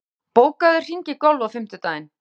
Þorgautur, bókaðu hring í golf á fimmtudaginn.